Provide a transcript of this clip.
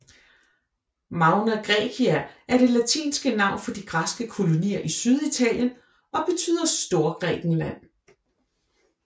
Magna Graecia er det latinske navn for de græske kolonier i Syditalien og betyder Storgrækenland